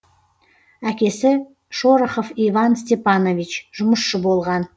әкесі шорохов иван степанович жұмысшы болған